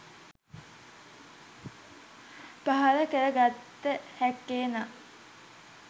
පහළ කර ගත හැක්කේ, නම්